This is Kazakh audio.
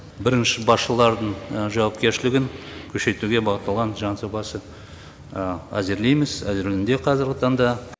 бірінші басшылардың жауапкершілігін күшейтуге бағытталған заң жобасы әзірлейміз әзірленуде қазіргі таңда